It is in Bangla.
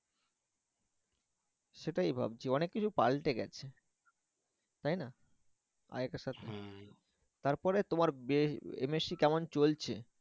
সেটাই ভাবছি অনেক কিছু পাল্টে গেছে তাই না? আরেকটা তারপরে তোমার বে MSC কেমন চলছে?